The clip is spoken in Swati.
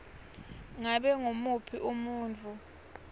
ngabe ngumuphi umuntfu